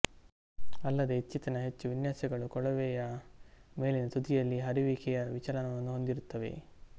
ಅಲ್ಲದೇ ಇತ್ತೀಚಿನ ಹೆಚ್ಚು ವಿನ್ಯಾಸಗಳು ಕೊಳವೆಯ ಮೇಲಿನ ತುದಿಯಲ್ಲಿ ಹರಿಯುವಿಕೆಯ ವಿಚಲಕವನ್ನು ಹೊಂದಿರುತ್ತವೆ